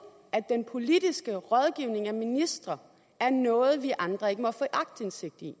at den politiske rådgivning af ministre er noget som vi andre ikke må få aktindsigt i